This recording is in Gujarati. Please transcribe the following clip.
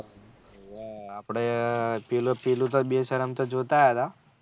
આપળે પેલું પેલું બેશરમ તો જોતા આયેલા